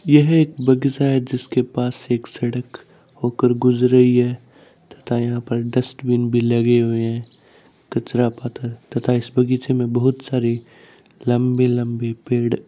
ये एक बगीचा है जिसके पास एक सड़क हो कर गुजर रही है तथा यहाँ पर डस्टबीन भी लगे हुए है कचरापात्र तथा इस बगीचे मे बहुत सारे लंबे लंबे पेड़ --